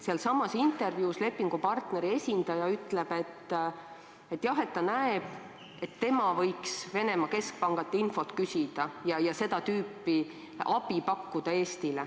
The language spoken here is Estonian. Sealsamas intervjuus ütleb lepingupartneri esindaja, et jah, ta näeb, et tema võiks Venemaa keskpangalt infot küsida ja Eestile seda tüüpi abi pakkuda.